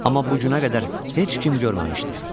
Amma bu günə qədər heç kim görməmişdi.